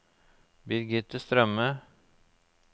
Birgitte Strømme